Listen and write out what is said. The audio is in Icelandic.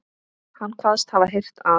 Hann kvaðst hafa heyrt að